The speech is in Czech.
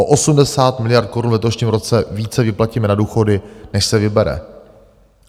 O 80 miliard korun v letošním roce více vyplatíme na důchody, než se vybere.